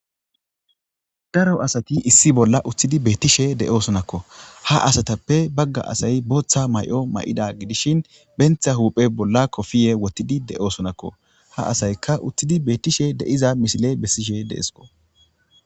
daro asati issi bolla uththidi beettishe de7o sunakko ha asatappe bagga asay booththa may7o may7ida gidishin bentha huuphe bolla kofiye wottidi de7o sunakko ha asayka uththidi bettishe deiza misile bessishe deesko